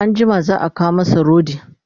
anjima za'a kawo masa rodi